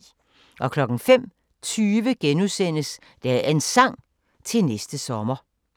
05:20: Dagens Sang: Til næste sommer *